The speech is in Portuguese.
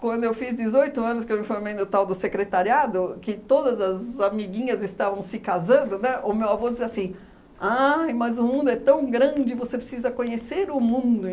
Quando eu fiz dezoito anos, que eu me formei no tal do secretariado, que todas as amiguinhas estavam se casando, né, o meu avô dizia assim, ah mas o mundo é tão grande, você precisa conhecer o mundo.